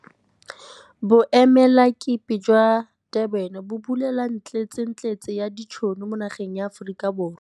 Boemelakepe jwa kwa Durban bo bulela ntletsentletse ya ditšhono mo nageng ya Aforika Borwa.